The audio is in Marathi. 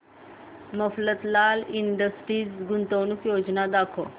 मफतलाल इंडस्ट्रीज गुंतवणूक योजना दाखव